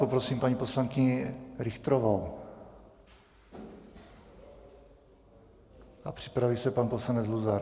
Poprosím paní poslankyni Richterovou a připraví se pan poslanec Luzar.